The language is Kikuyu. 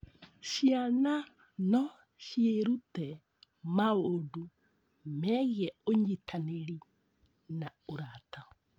Ciana no ciĩrute maũndũ megiĩ ũnyitanĩri na ũrata.